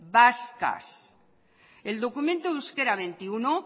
vascas el documento de euskera veintiuno